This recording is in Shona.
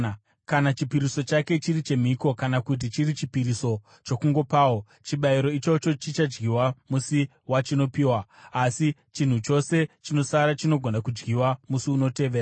“ ‘Kana chipiriso chake chiri chemhiko kana kuti chiri chipiriso chokungopawo, chibayiro ichocho chichadyiwa musi wachinopiwa, asi chinhu chose chinosara chinogona kudyiwa musi unotevera.